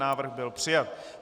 Návrh byl přijat.